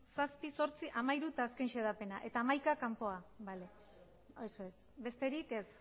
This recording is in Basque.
zazpi zortzi hamairu eta azken xedapena eta hamaika kanpora eso es besterik ez